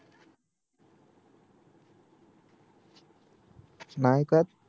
नाही ऐकत